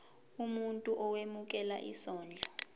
umuntu owemukela isondlo